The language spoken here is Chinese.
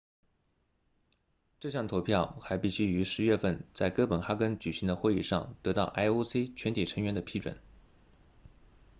这项投票还必须于10月份在哥本哈根举行的会议上得到 ioc 全体成员的批准